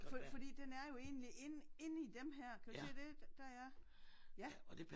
Fordi den er jo egentlig inde inde i dem her kan du se det? Der er ja